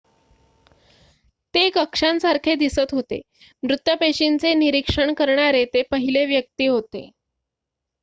ते कक्षांसारखे दिसत होते मृत पेशींचे निरीक्षण करणारे ते पहिले व्यक्ती होते